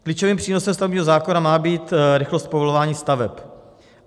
Klíčovým přínosem stavebního zákona má být rychlost povolování staveb.